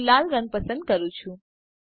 હું લાલ પસંદ કરું છુ